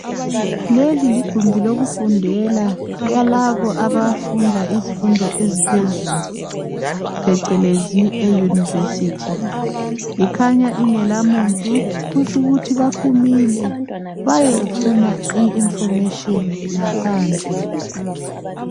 Leli ligumbi lokufundela yalabo abezifundo eziphezulu phecelezi eYunivesi. Ikhanya ingelamuntu, kutsho ukuthi baphumile, bayefuna i"information" ngaphandle.